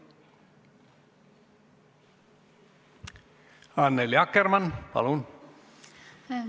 Annely Akkermann, palun!